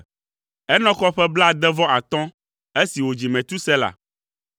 Enɔk xɔ ƒe blaade-vɔ-atɔ̃ esi wòdzi Metusela.